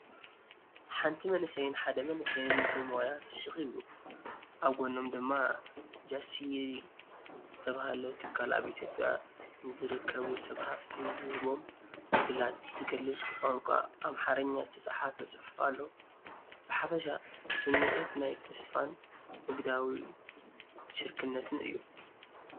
ሓንቲ መንእሰይን ሓደ መንእሰይን ብሞያ ፍሽኽ ይብሉ። ኣብ ጎኖም ድማ "ጃሲሪ" ዝተባህለ ትካል ኣብ ኢትዮጵያ ንዝርከቡ ሰብ ሃፍቲ ዝህቦም ዕድላት ዝገልጽ ብቋንቋ ኣምሓርኛ ዝተጻሕፈ ጽሑፍ ኣሎ። ብሓፈሻ ስሚዒት ናይ ተስፋን ንግዳዊ ሽርክነትን እዩ።